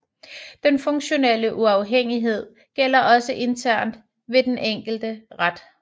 Den funktionelle uafhængighed gælder også internt ved den enkelte ret